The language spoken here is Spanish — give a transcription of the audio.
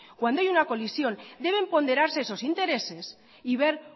cuando hay una colisión deben ponderarse esos intereses y ver